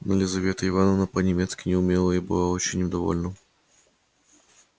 но елизавета ивановна по немецки не умела и была очень им довольна